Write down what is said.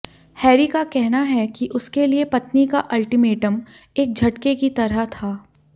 Harry का कहना है कि उसके लिए पत्नी का अल्टीमेटम एक झटके की तरह था